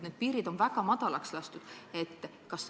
Need piirid on väga madalaks lastud.